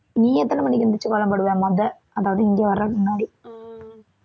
நீ எத்தனை மணிக்கு எந்திரிச்சு கோலம் போடுவ முத அதாவது இங்க வர்றதுக்கு முன்னாடி